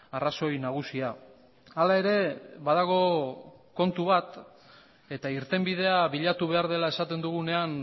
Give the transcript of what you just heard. arrazoi nagusia hala ere badago kontu bat eta irtenbidea bilatu behar dela esaten dugunean